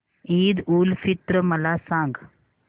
ईद उल फित्र मला सांग